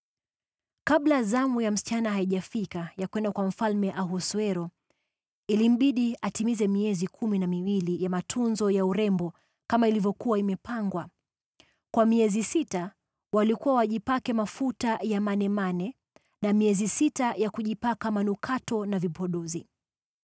Kabla zamu ya msichana haijafika ya kwenda kwa Mfalme Ahasuero, ilimbidi atimize miezi kumi na miwili ya matunzo ya urembo kama ilivyokuwa imepangwa. Kwa miezi sita walikuwa wajipake mafuta ya manemane, na miezi sita kujipaka manukato na vipodozi.